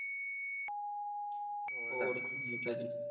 ਹੋਰ ਕੋਈ ਨਵੀਂ ਤਾਜ਼ੀ